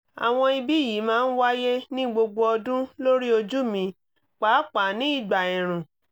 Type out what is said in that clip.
àwọn ibi yìí máa ń wáyé ní gbogbo ọdún lórí ojú mi pàápàá ní ìgbà ẹ̀ẹ̀rùn